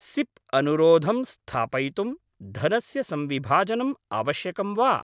SIP अनुरोधं स्थापयितुं धनस्य संविभाजनम् आवश्यकं वा?